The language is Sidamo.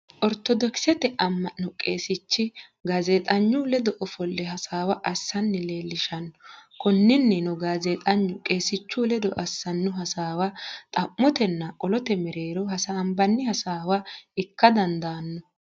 Oritodokisete ama'no qeesichi gaazexxenyu ledo offolle hasawa asanni leelishano, koninnino gaazeexenyu qeesichu ledo assano hassawa xamotenna qolote meerero hasambanni hasawa ikka dandanno